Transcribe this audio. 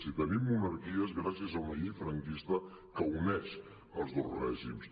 si tenim monarquia és gràcies a una llei franquista que uneix els dos règims